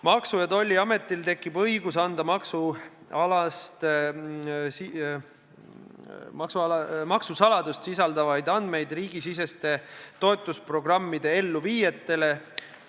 Maksu- ja Tolliametil tekib õigus anda maksusaladust sisaldavaid andmeid riigisiseste toetusprogrammide elluviijatele.